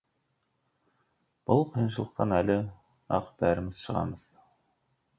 бұл қиыншылықтан әлі ақ бәріміз шығамыз